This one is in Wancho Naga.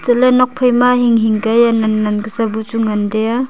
le nokphai ma hing hing ka hia nan nan ka sa bu chu ngan tai a.